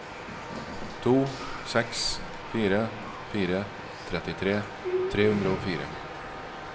to seks fire fire trettitre tre hundre og fire